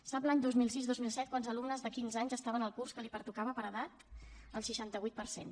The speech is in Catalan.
sap l’any dos mil sis dos mil set quants alumnes de quinze anys estaven al curs que els pertocava per edat el seixanta vuit per cent